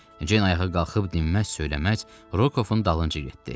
Ceyn ayağa qalxıb dinməz-söyləməz Rokovun dalınca getdi.